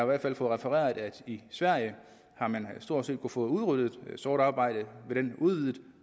hvert fald fået refereret at i sverige har man stort set fået udryddet sort arbejde ved den udvidede